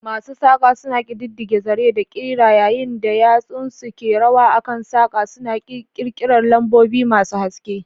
Masu saƙa suna ƙididdige zaren da ƙira yayin da yatsunsu ke rawa a kan saƙa, suna ƙirƙirar lambobi masu haske.